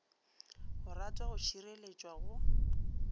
go ratwa go šireletšwa go